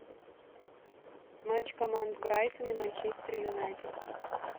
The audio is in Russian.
матч команд брайтон и манчестер юнайтед